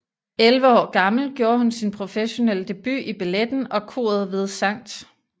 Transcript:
Elleve år gammel gjorde hun sin professionelle debut i balletten og koret ved St